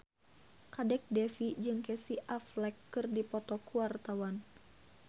Kadek Devi jeung Casey Affleck keur dipoto ku wartawan